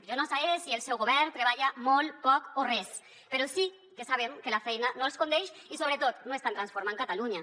jo no sé si el seu govern treballa molt poc o res però sí que sabem que la feina no els condeix i sobretot no estan transformant catalunya